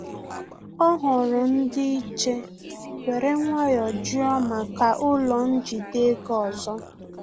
Ọ hụrụ ndị-iche were nwayọ jụọ maka ụlọ njide ego ọzọ